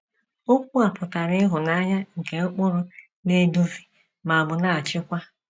Okwu a pụtara ịhụnanya nke ụkpụrụ na - eduzi ma ọ bụ na - achịkwa.